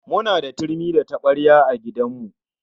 Kuna da turmi da tabarya a gidan ku?